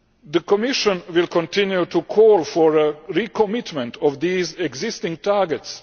The Commission will continue to call for a recommitment of these existing targets.